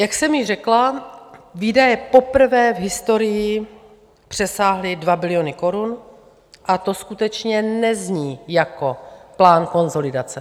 Jak jsem již řekla, výdaje poprvé v historii přesáhly 2 biliony korun a to skutečně nezní jako plán konsolidace.